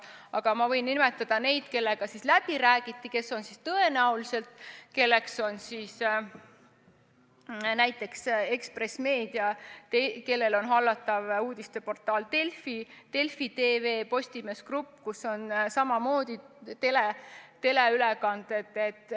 Aga ma võin nimetada neid, kellega läbi räägiti ja kes tõenäoliselt hakkavad selle seaduse alla kuuluma: näiteks Ekspress Meedia, kelle hallata on uudisteportaal Delfi koos Delfi TV-ga, ja Postimees Grupp, kes pakub samamoodi teleülekandeid.